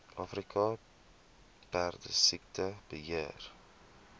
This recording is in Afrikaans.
afrika perdesiekte beheer